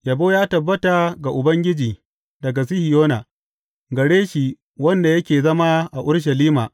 Yabo ya tabbata ga Ubangiji daga Sihiyona, gare shi wanda yake zama a Urushalima.